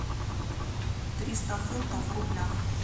триста фунтов в рублях